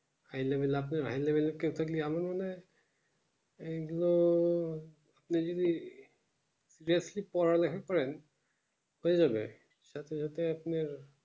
high level এর আপনার high যাবোই না এই গুলো সে গুলো বেশি পড়ালেখা করেছে হয়ে যাবে সাথে সাথে আপনার